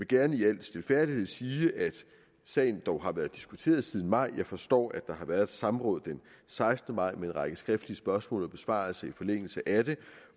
gerne i al stilfærdighed sige at sagen dog har været diskuteret siden maj jeg forstår at der har været et samråd den sekstende maj med en række skriftlige spørgsmål og besvarelser i forlængelse af det